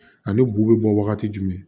Ani bu bɛ bɔ wagati jumɛn